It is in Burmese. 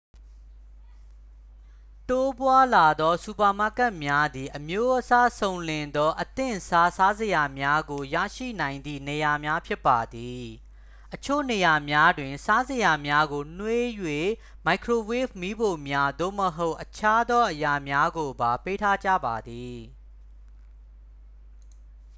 တိုးပွားလာသောစူပါမားကတ်များသည် အမျိုးအစားစုံလင်သော အသင့်စား စားစရာများကိုရရှိနိုင်သည့်နေရာများ ဖြစ်ပါသည် အချို့နေရာများတွင် စားစရာများကိုနွှေးရန် မိုက်ခရိုဝေ့ဗ်မီးဖိုများ သို့မဟုတ် အခြားသောအရာများကိုပါ ပေးထားကြပါသည်